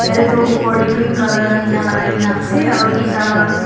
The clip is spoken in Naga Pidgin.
ete tu opor te green colour laga tina lagaikena ase aru eta laga.